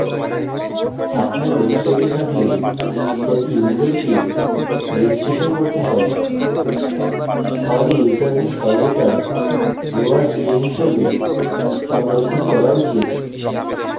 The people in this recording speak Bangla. আপনার website থাকলে যাতে ইউসারকে রেজিস্ট্রেশন করতে হয় তাহলে ইউসারনেম সর্বদা lower string হিসাবে সংরক্ষণ করা উচিত